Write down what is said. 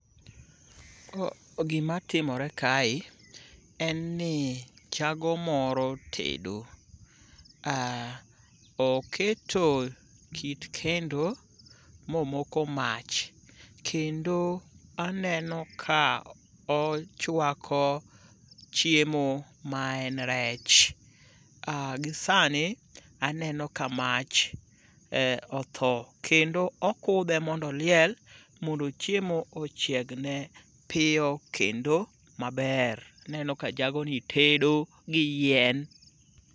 Gimatimore kae en ni jago moro tedo. Oketo kit kendo momoko mach, kendo aneno ka ochwako chiemo ma en rech. Gi sani aneno ka mach otho kendo okudhe mondo oliel mondo chiemo ochiegne piyo kendo maber. Aneno ka jagoni tedo gi yien.